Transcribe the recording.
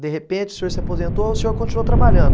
De repente o senhor se aposentou ou o senhor continuou trabalhando?